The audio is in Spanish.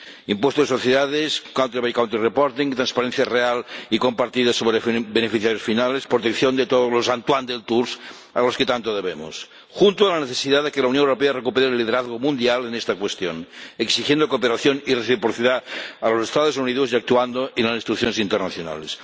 impuesto de sociedades, informes por país, transparencia real y compartida sobre beneficiarios finales, protección de todos los Antoine Deltour a los que tanto debemos, junto a la necesidad de que la Unión Europea recupere el liderazgo mundial en esta cuestión, exigiendo cooperación y reciprocidad a los Estados Unidos y actuando en las instituciones internacionales.